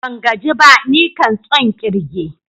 Ban gaji ba, nikan tson kirge.